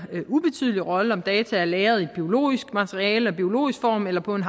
ubetydelig rolle om data er lagret i biologisk materiale og i biologisk form eller på en